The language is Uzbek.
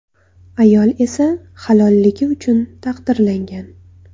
Ayol esa halolligi uchun taqdirlangan.